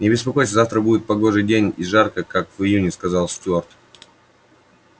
не беспокойся завтра будет погожий день и жарко как в июне сказал стюарт